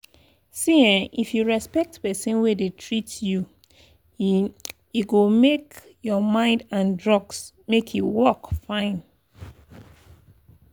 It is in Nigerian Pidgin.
see ehnn if you respect person wey dey treat you e e go make your mind and drugs make e work fine.